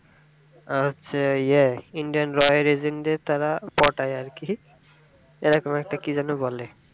উম হচ্ছে indian দের তারা পটাই এর কি এরকম একটা কি যেন বলে